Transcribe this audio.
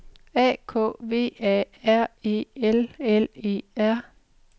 A K V A R E L L E R